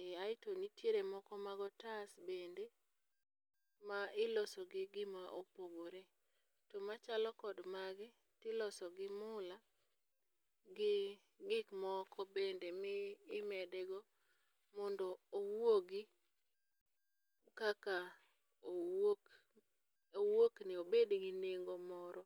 ee aeto nitiere moko mag otas bende ma iliso gi gima opogore. To machalo kod magi to iloso gi mula, gi gik moko bende mimede go mondo owuogi kaka owuok owuokni, obed gi nengo moro.